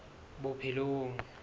bophelong